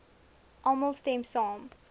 almal stem saam